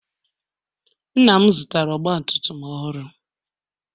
Nna'm zụtara ọgba tum tum ọhụrụ.